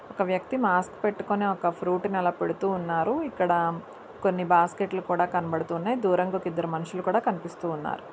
ఒక వ్యక్తి మాస్క్ పెట్టుకొని ఒక ఫ్రూట్ ని అలా పెడుతూ ఉన్నారు. ఇక్కడ కొన్ని బాస్కెట్లు కూడా కనబడుతున్నాయి. దూరంగా ఒక మనుషులు కనిపిస్తూ ఉన్నారు.